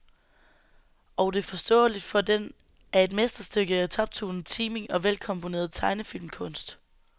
Og det er forståeligt, for den er et mesterstykke i toptunet timing og velkomponeret tegnefilmkunst.